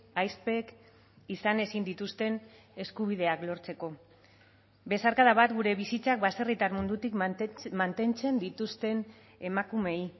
ahizpek izan ezin dituzten eskubideak lortzeko besarkada bat gure bizitzak baserritar mundutik mantentzen dituzten emakumeei